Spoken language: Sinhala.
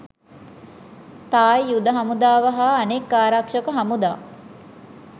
තායි යුධ හමුදාව හා අනෙක් ආරක්ෂක හමුදා